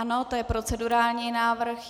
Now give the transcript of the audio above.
Ano, to je procedurální návrh.